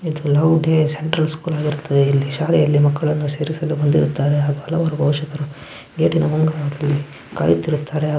ಇದು ಲವ್ ಗೆ ಸೆಂಟ್ರಲ್ ಸ್ಕೂಲ್ ಬರುತೆ. ಇಲ್ಲಿ ಶಾಲೆಯಲ್ಲಿ ಮಕ್ಕಳನ್ನು ಸೇರಿಸಲು ಬಂದಿರುತ್ತಾರೆ. ಹಾಗು ಹಲವಾರು ಗೇಟ್ ಇನ ಮುಂದೆ ಕಾಯುತ್ತಿರುತ್ತಾರೆ.